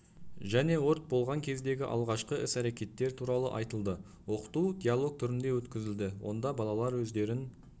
және өрт болған кездегі алғашқы іс-әрекеттер туралы айтылды оқыту диалог түрінде өткізілді онда балалар өздерін